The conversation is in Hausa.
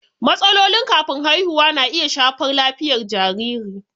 Matsalolin kafin haihuwa na iya shafar lafiyar jariri.